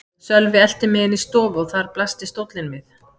Sölvi elti mig inn í stofu og þar blasti stóllinn við.